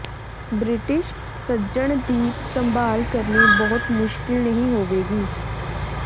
British ਸੱਜਣ ਦੀ ਸੰਭਾਲ ਕਰਨੀ ਬਹੁਤ ਮੁਸ਼ਕਲ ਨਹੀਂ ਹੋਵੇਗੀ